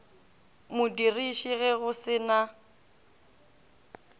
modiriši ge go se na